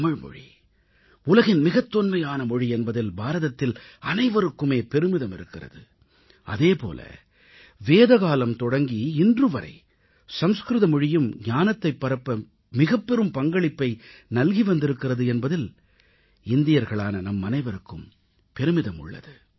தமிழ் மொழி உலகின் மிகத் தொன்மையான மொழி என்பதில் பாரதத்தில் அனைவருக்குமே பெருமிதம் இருக்கிறது அதேபோல வேதகாலம் தொடங்கி இன்று வரை சமஸ்கிருத மொழியும் ஞானத்தைப் பரப்ப மிகப்பெரும் பங்களிப்பை நல்கி வந்திருக்கிறது என்பதில் இந்தியர்களான நம் அனைவருக்கும் பெருமிதம் உள்ளது